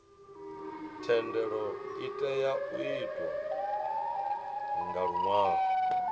thendelo itea u itwa nga luṅwalo